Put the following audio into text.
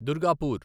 Durgapur